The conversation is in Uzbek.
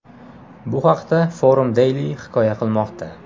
Bu haqda Forum Daily hikoya qilmoqda .